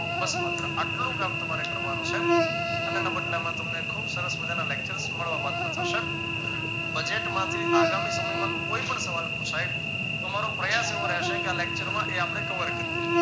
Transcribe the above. બસ માત્ર આટલુ કામ તમારે કરવાનું છે અને એના બદલામાં તમને ખુબ સરસ મજાના lectures મળવાપાત્ર થશે budget માંથી આગામી સમયમાં કોઈ પણ સવાલ પુછાય તો અમારો પ્રયાશ એવો રહેશે કે આ lecture માં એ આપણે cover કરી લઇએ